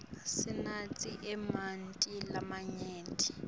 sinatse emanti lamanyenti